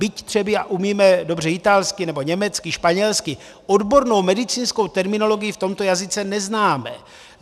Byť třeba umíme dobře italsky nebo německy, španělsky, odbornou medicínskou terminologii v tomto jazyce neznáme.